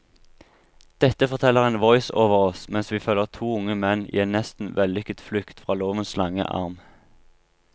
Dette forteller en voiceover oss mens vi følger to unge menn i en nesten vellykket flukt fra lovens lange arm.